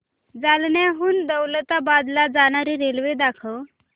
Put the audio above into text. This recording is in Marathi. जालन्याहून दौलताबाद ला जाणारी रेल्वे दाखव